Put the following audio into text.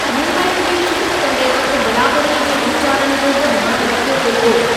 मेम्बरनि जी चूंड कंदे वक़्ति बराबरीअ जे वीचारनि जो बि ध्यानु रखियो वेंदो।